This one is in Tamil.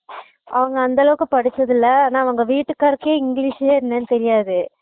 அவங்க அந்த அளவுக்கு படுச்சதில்ல ஆனா அவங்க வீடுகருக்கே english ன என்னனுன் தெரியாது